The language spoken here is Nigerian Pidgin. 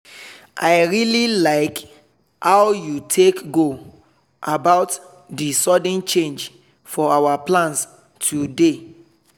i really like how you take go about the sudden change for our plans today.